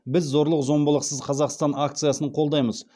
біз зорлық зомбылықсыз қазақстан акциясын қолдаймыз